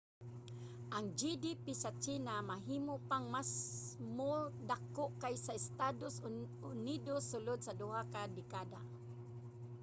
ang gdp sa tsina mahimo pang masmo dako kaysa sa estados unidos sulod sa duha ka dekada